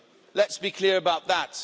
Let's be clear about that.